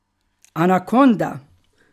Anakonda!